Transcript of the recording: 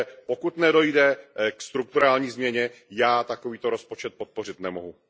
Pokud nedojde ke strukturální změně, já takovýto rozpočet podpořit nemohu.